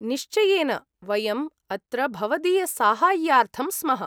निश्चयेन, वयम् अत्र भवदीयसाहाय्यार्थं स्मः।